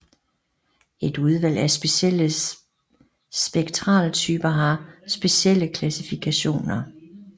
Et udvalg af specielle spektraltyper har specielle klassifikationer